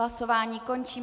Hlasování končím.